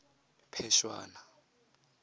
phešwana